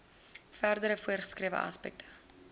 verdere voorgeskrewe aspekte